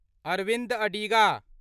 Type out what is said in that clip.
Arvind Adiga